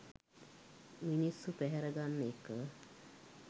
මිනිස්සු පැහැර ගන්න එක.